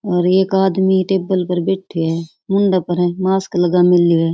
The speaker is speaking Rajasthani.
और एक आदमी टेबल पर बैठ है मुंड पर मास्क लगा मेलो है।